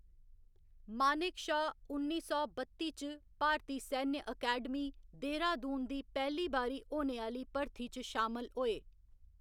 मानेक शा उन्नी सौ बत्ती च भारती सैन्य अकैडमी, देहरादून दी पैह्‌ली बारी होने आह्‌ली भर्थी च शामल होए।